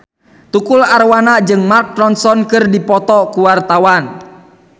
Tukul Arwana jeung Mark Ronson keur dipoto ku wartawan